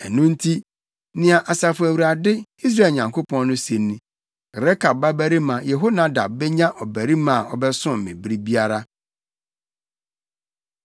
Ɛno nti, nea Asafo Awurade, Israel Nyankopɔn no se ni: ‘Rekab babarima Yehonadab benya ɔbarima a ɔbɛsom me bere biara.’ ”